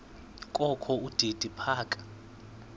kokho udidi phaka